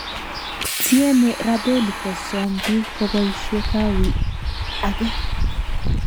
Tieme Rabelli Kosom biik koboishe kawi age